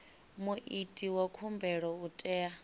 muiti wa khumbelo u tea